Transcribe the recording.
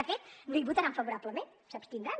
de fet no hi votaran favorablement s’abstindran